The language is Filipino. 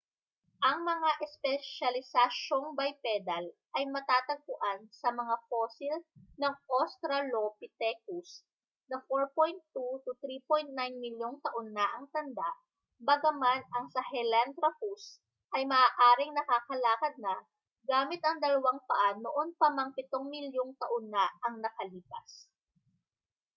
ang mga espesyalisasyong bipedal ay matatagpuan sa mga fosil ng australopithecus na 4.2-3.9 milyong taon na ang tanda bagaman ang sahelanthropus ay maaaring nakakalakad na gamit ang dalawang paa noon pa mang pitong milyong taon na ang nakalipas